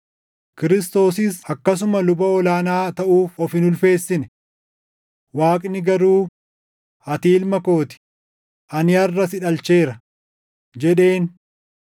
Kiristoosis akkasuma luba ol aanaa taʼuuf of hin ulfeessine. Waaqni garuu, “Ati Ilma koo ti; ani harʼa si dhalcheera” + 5:5 \+xt Far 2:7\+xt* jedheen.